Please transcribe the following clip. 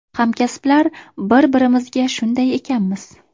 Hamkasblar bir-birimizga shunday ekanmiz.